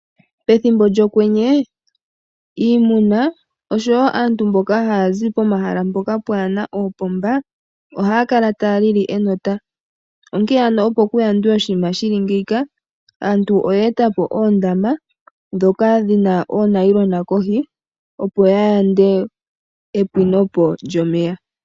Pethimbo lyokwenye iimuna noshowo aantu mboka haya zi pomahala mpoka pwaa na oopomba ohaya kala taya lili enota, onkene opo ku yandwe oshinima shi li ngeyika, aantu oye eta po oondama ndhoka dhi na oonayilona kohi, opo ya yande epwino po lyomeya.